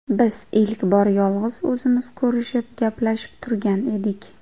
Biz ilk bor yolg‘iz o‘zimiz ko‘rishib, gaplashib turgan edik.